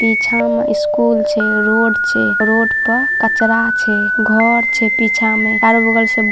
पीछा में स्कूल छै रोड छै रोड पर कचरा छै घर छै पीछा में चारो बगल से --